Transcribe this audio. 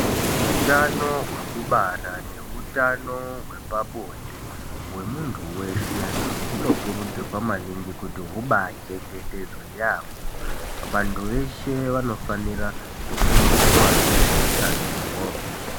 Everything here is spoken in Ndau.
Utano hwekubara neutano hwepabonde hwemuntu weshe hunokurudzirwa maningi kuti hubaachengetedzwe yaamho. Vantu veshe vanofanira kufundiswa ngezveutanoho.